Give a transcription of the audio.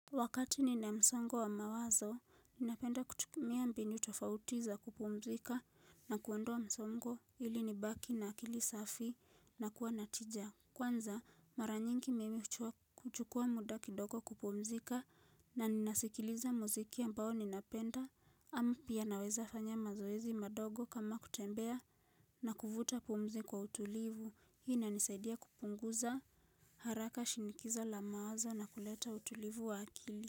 Wakati nina msongo wa mawazo, ninapenda kutumia mbinu tofauti za kupumzika na kuondoa msongo ili nibaki na akili safi na kuwa na tija. Kwanza, mara nyingi mimi kuchukua muda kidogo kupumzika na ninasikiliza muziki ambao ninapenda, ama pia naweza fanya mazoezi madogo kama kutembea na kuvuta pumzi kwa utulivu. Hii inanisaidia kupunguza haraka shinikizo la mawazo na kuleta utulivu wa akili.